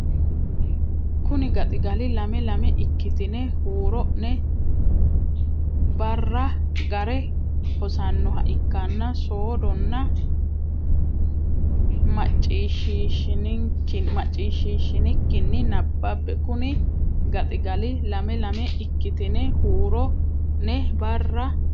Kuni gaxigali lame lame ikkitine huuro ne barra ga re hosannoha ikkanna soodonna macciishshiishshinikkinni nabbabbe Kuni gaxigali lame lame ikkitine huuro ne barra.